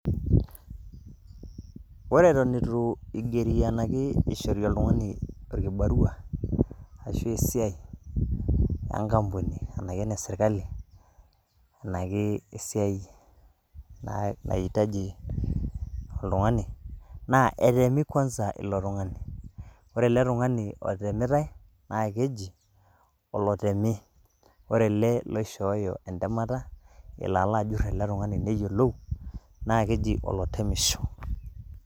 Ore eton itu igeri ena ake ishori oltung'ani orkibarua ashu esiai, enkampuni ena keneserikali, naa etemi kwanza ilo tung'ani. Ore ele tung'ani otemitai, naa keji olotemi, ore ele oishooyo entemata elo alo ajurr ele tung'ani neyiolou, naa keji olotemisho